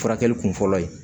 Furakɛli kun fɔlɔ ye